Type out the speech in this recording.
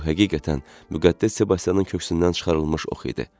Bu həqiqətən Müqəddəs Sebastianın köksündən çıxarılmış ox idi.